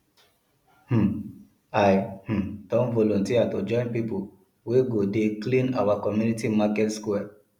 um i um don volunteer to join pipo wey go dey clean our community market square